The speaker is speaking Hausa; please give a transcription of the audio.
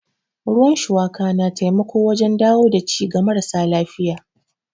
Ruwan shuwaka na taimako wajen dawo da ci ga marasa lafiya.